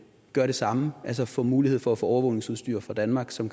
gør det samme altså får mulighed for at få overvågningsudstyr fra danmark som